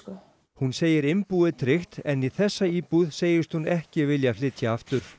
hún segir innbúið tryggt en í þessa íbúð segist hún ekki vilja flytja aftur